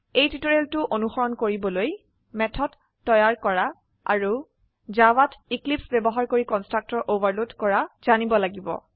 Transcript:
টিউটোৰিয়েলটো অনুসৰণ কৰিবলৈ মেথড তৈয়াৰ কৰা আৰু জাভাত এক্লিপছে ব্যবহাৰ কৰি কন্সট্ৰাকটৰ ওভাৰলোড কৰা জানিব লাগিব